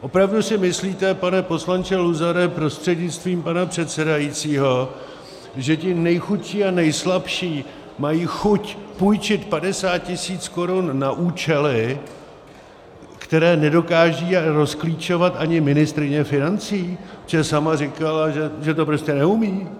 Opravdu si myslíte, pane poslanče Luzare prostřednictvím pana předsedajícího, že ti nejchudší a nejslabší mají chuť půjčit 50 tisíc korun na účely, které nedokáže rozklíčovat ani ministryně financí, protože sama říkala, že to prostě neumí?